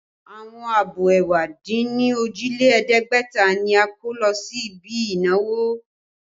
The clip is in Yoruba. Àwọn abọ́ ẹ̀wá dín ní òjì lé ẹ̀ẹ́dẹ́gbẹ̀ta ni a kó lọ sí ibi ìnáwó